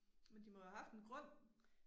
Men de må jo have haft en grund